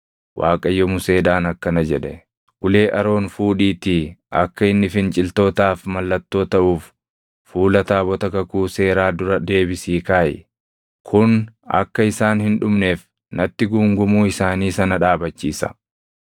Waaqayyo Museedhaan akkana jedhe; “Ulee Aroon fuudhiitii akka inni finciltootaaf mallattoo taʼuuf fuula taabota kakuu seeraa dura deebisii kaaʼi. Kun akka isaan hin dhumneef natti guungumuu isaanii sana dhaabachiisa.”